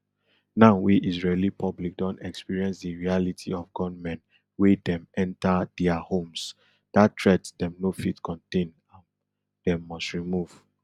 now wey israeli public don experience di reality of gunmen wey dem enta dia homesdat threat dem no fit contain am dem must remove